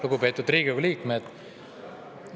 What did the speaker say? Lugupeetud Riigikogu liikmed!